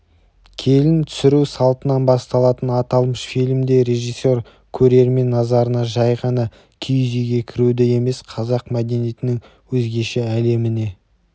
келін түсіру салтынан басталатын аталмыш фильмде режиссер көрермен назарына жәй ғана киіз үйге кіруді емес қазақ мәдениетінің өзгеше әлеміне